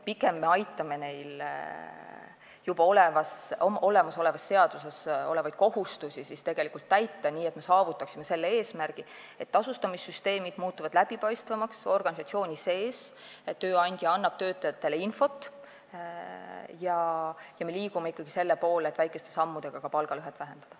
Pigem me aitame neil juba olemasolevas seaduses olevaid kohustusi täita nii, et me saavutaksime selle eesmärgi, et tasustamissüsteemid muutuksid organisatsiooni sees läbipaistvamaks, tööandja annaks töötajatele infot ja me liiguksime ikkagi selle poole, et väikeste sammudega ka palgalõhet vähendada.